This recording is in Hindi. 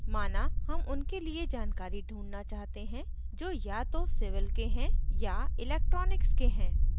माना हम उनके लिए जानकारी ढूँढना चाहते हैं जो या तो civil के हैं या electronics के हैं